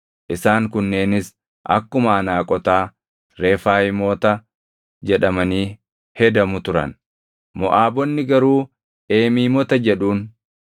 Isaan kunneenis akkuma Anaaqotaa, Refaayimoota jedhamanii hedamu turan; Moʼaabonni garuu Eemiimoota jedhuun.